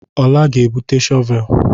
Ọla ga-ebute shọvel.